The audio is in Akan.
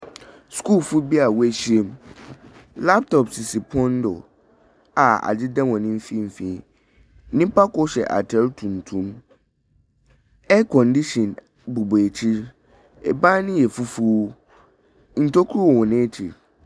Skulfoɔ bi a wɔahyiam. Laptop sisi pon do a ɛdeda hɔn mfimfin. Nipa kor hyɛ atar tuntum. Aircondition bobɔ ekyir. Ban no yɛ fufuo. Ntoku wɔ hɔn ekyir.